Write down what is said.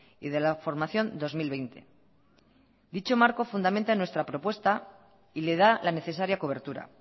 y de la formación dos mil veinte dicho marco fundamenta en nuestra propuesta y le da la necesaria cobertura